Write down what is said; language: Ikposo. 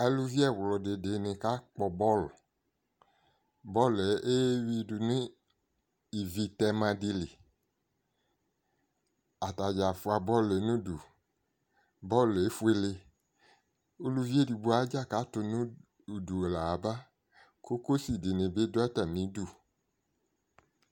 Aluvi ɛɣlʋdɩ dɩnɩ kakpɔ bɔlʋ Bɔl yɛ eyui ivitɛma dɩ li Atadzaa fua bɔl yɛ n'udu, bɔl yɛ efuele, uluvi edigbo adzala tʋ nʋ udu laɣaba Cocosi dɩnɩ bɩ dʋ atamidu